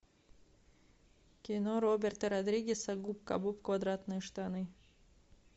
кино роберта родригеса губка боб квадратные штаны